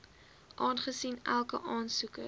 aangesien elke aansoeker